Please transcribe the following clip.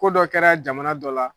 Ko dɔ kɛra jamana dɔ la